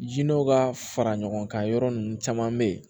Jinɛw ka fara ɲɔgɔn kan yɔrɔ nunnu caman be yen